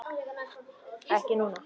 Ekki núna.